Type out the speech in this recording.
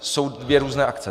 Jsou dvě různé akce.